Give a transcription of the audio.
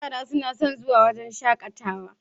Yara suna son zuwa wajan shaƙatawa